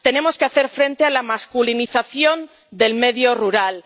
Tenemos que hacer frente a la masculinización del medio rural.